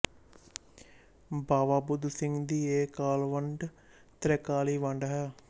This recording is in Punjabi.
ਬਾਵਾ ਬੁੱਧ ਸਿੰਘ ਦੀ ਇਹ ਕਾਲਵੰਡ ਤ੍ਰੈਕਾਲੀ ਵੰਡ ਹੈ